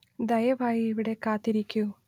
ദയവായി ഇവിടെ കാത്തിരിക്കൂ